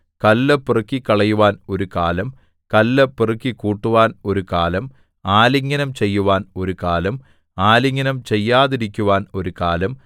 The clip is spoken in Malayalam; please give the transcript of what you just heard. കല്ല് പെറുക്കിക്കളയുവാൻ ഒരു കാലം കല്ല് പെറുക്കിക്കൂട്ടുവാൻ ഒരു കാലം ആലിംഗനം ചെയ്യുവാൻ ഒരു കാലം ആലിംഗനം ചെയ്യാതിരിക്കുവാൻ ഒരു കാലം